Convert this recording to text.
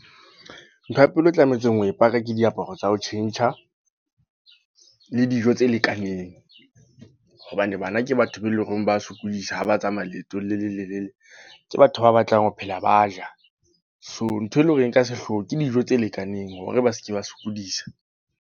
Ntho ya pele e tlametseng ho e paka ke diaparo tsa ho tjhentjha. Le dijo tse lekaneng. Hobane bana ke batho be leng hore ba sokodisa, ha ba tsamaya leetong le lelelele. Ke batho ba batlang ho phela ba ja. So ntho e leng hore e ka sehlooho ke dijo tse lekaneng hore ba seke ba sokodisa.